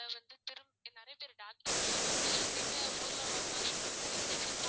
வந்து திரும்ப இங்க நிறைய பேரு doctor இல்லன்னா எங்க ஊர்ல உள்ளவங்க தான் சொல்றாங்க injection